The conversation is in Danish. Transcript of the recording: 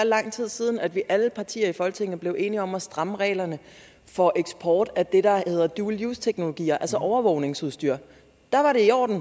lang tid siden at alle partier i folketinget blev enige om at stramme reglerne for eksport af det der hedder dual use teknologier altså overvågningsudstyr da var det i orden